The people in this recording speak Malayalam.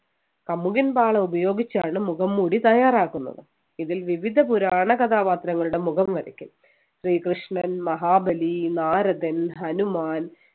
കമുകിൻ പാള ഉപയോഗിച്ചാണ് മുഖംമൂടി തയ്യാറാക്കുന്നത് ഇതിൽ വിവിധ പുരാണ കഥാപാത്രങ്ങളുടെ മുഖം വരയ്ക്കും ശ്രീകൃഷ്ണൻ മഹാബലി നാരദൻ ഹനുമാൻ